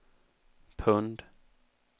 pund